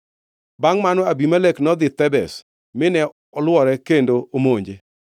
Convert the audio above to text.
Bangʼ mano, Abimelek nodhi Thebez mine olwore kendo omonje.